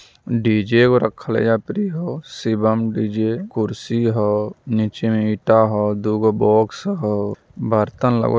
DJ ओ रखल एजा पड़ी हो सिवम डी_जे खुरसी हौ नीचे में ईटा हौ डोंगों बॉक्स हौ बर्तन ला--